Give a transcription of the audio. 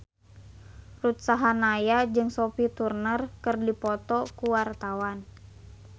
Ruth Sahanaya jeung Sophie Turner keur dipoto ku wartawan